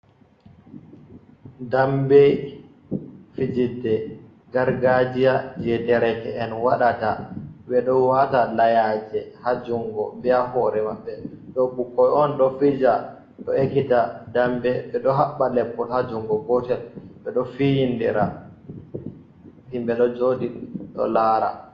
Dambe fijirde gargajiya je dereke’en wadata, ɓe ɗo wata layaje hajungo bea hore maɓɓe, ɗo bukoi on ɗo fija ɗo ekita dambe, ɓeɗo habba leppol hajungo gotel, ɓeɗo fiyindira himbe do joɗi ɗo lara.